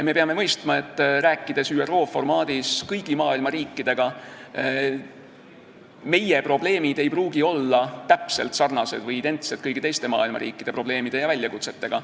Me peame mõistma, rääkides ÜRO formaadis kõigi maailma riikidega, et meie probleemid ei pruugi olla täpselt sarnased või identsed kõigi teiste maailma riikide probleemidega.